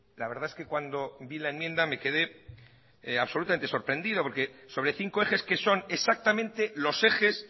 la verdad es que cuando vi la enmienda me quede absolutamente sorprendido porque sobre cinco ejes que son exactamente los ejes